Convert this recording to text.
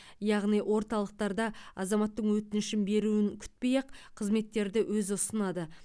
яғни орталықтарда азаматтың өтінішін беруін күтпей ақ қызметтерді өзі ұсынады